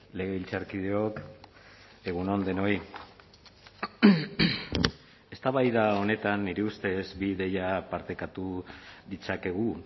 legebiltzarkideok egun on denoi eztabaida honetan nire ustez bi ideia partekatu ditzakegu